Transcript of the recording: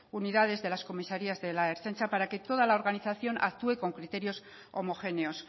unidades de las comisarías de la ertzaintza para que toda la organización actúe con criterios homogéneos